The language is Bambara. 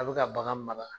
A bɛ ka bagan mara